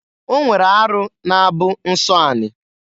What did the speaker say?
O nwere arụ na-abụ nsọ ani.